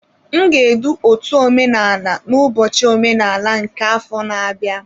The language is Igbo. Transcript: M ga-edu otú omenala n'ụbọchị omenala nke afọ na-abịa.